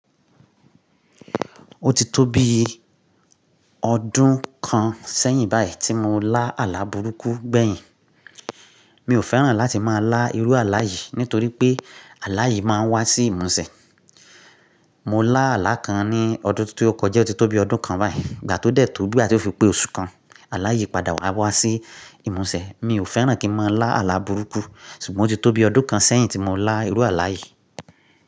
Ó ti tóbi ọdún kan sẹ́yìn báyìí tí mo lá àlà burúkú gbẹ̀yìn. Mi ò fẹ́ràn láti máa lá irú àlà yìí nítorí pé àlà yìí máa ń wá sí ìmúṣẹ. Mo lá àlà kan ní ọdún tó kọjá, ó ti tóbi ọdún kan báyìí. Ìgbà tó dẹ̀ tóbi àti ó fi pé oṣù kan, àlà yìí padà wá wá sí ìmúṣẹ. Mi ò fẹ́ràn kí n máa lá àlà burúkú, ṣùgbọ́n ó ti tóbi ọdún kan sẹ́yìn tí mo lá irú àlà yìí.